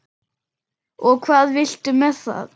Og hvað viltu með það?